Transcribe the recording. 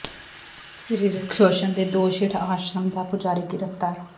ਸਰੀਰਕ ਸ਼ੋਸ਼ਣ ਦੇ ਦੋਸ਼ ਹੇਠ ਆਸ਼ਰਮ ਦਾ ਪੁਜਾਰੀ ਗ੍ਰਿਫ਼ਤਾਰ